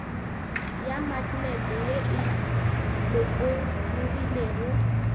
ya maknete ye e lokologilego